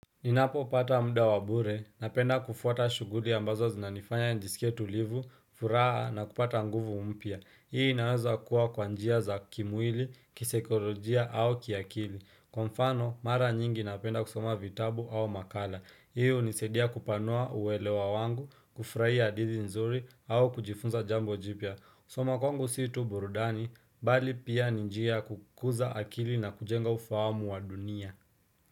Ninapopata mda wa bure, napenda kufuata shughuli ambazo zinanifanya nijisikie tulivu, furaha na kupata nguvu mpya. Hii inaweza kuwa kwa njia za kimwili, kisaikorojia au kiakili. Kwa mfano, mara nyingi napenda kusoma vitabu au makala. Hii hunisaidia kupanua uelewa wangu, kufraia hadithi nzuri au kujifunza jambo jipya. Kusoma kwangu si tu burudani, bali pia ni njia ya kukuza akili na kujenga ufahamu wa dunia.